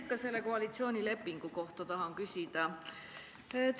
Ikka selle koalitsioonilepingu kohta tahan küsida.